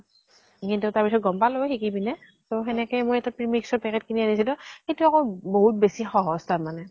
কিন্তু তাৰ পিছত গম পালো শিকি পিনে। ত সেনেকে মই এটা premix ৰ packet কিনি আনিছিলো, সেইটো আকৌ বহুত সহজ তাৰ মানে।